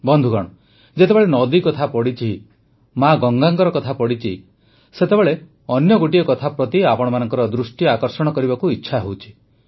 ବନ୍ଧୁଗଣ ଯେତେବେଳେ ନଦୀ କଥା ପଡ଼ିଛି ମା ଗଙ୍ଗାଙ୍କ କଥା ପଡ଼ିଛି ସେତେବେଳେ ଅନ୍ୟ ଗୋଟିଏ କଥା ପ୍ରତି ଆପଣମାନଙ୍କ ଦୃଷ୍ଟି ଆକର୍ଷିତ କରିବାକୁ ଇଚ୍ଛା ହେଉଛି